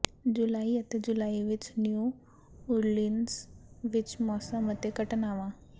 ਜੁਲਾਈ ਅਤੇ ਜੁਲਾਈ ਵਿਚ ਨਿਊ ਓਰਲੀਨਜ਼ ਵਿਚ ਮੌਸਮ ਅਤੇ ਘਟਨਾਵਾਂ